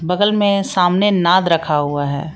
बगल में सामने नाद रखा हुआ है।